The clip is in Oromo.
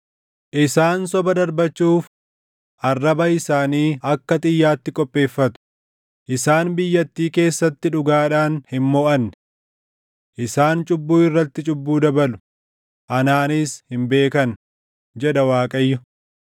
“Isaan soba darbachuuf arraba isaanii akka xiyyaatti qopheeffatu; isaan biyyattii keessatti dhugaadhaan hin moʼanne. Isaan cubbuu irratti cubbuu dabalu; anaanis hin beekan” jedha Waaqayyo.